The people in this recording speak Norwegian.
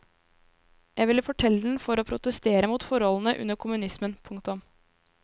Jeg ville fortelle den for å protestere mot forholdene under kommunismen. punktum